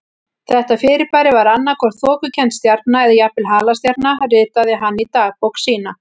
Þetta fyrirbæri var annað hvort þokukennd stjarna eða jafnvel halastjarna ritaði hann í dagbók sína.